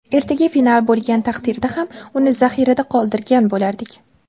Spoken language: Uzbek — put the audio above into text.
Ertaga final bo‘lgan taqdirda ham, uni zaxirada qoldirgan bo‘lardik.